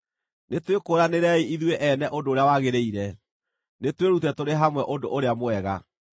Nĩtwĩkũũranĩrei ithuĩ ene ũndũ ũrĩa wagĩrĩire; nĩtwĩrute tũrĩ hamwe ũndũ ũrĩa mwega.